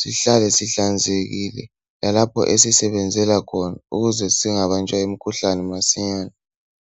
sihlale sihlanzekile lalapho esisebenzela khona ukuze singabanjwa yimkhuhlane masinyane